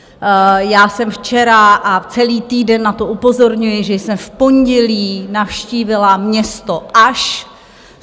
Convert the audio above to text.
Já jsem včera - a celý týden na to upozorňuji - že jsem v pondělí navštívila město Aš.